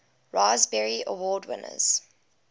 raspberry award winners